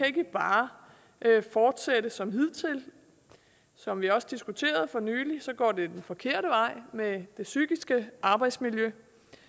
ikke bare kan fortsætte som hidtil som vi også diskuterede for nylig går det den forkerte vej med det psykiske arbejdsmiljø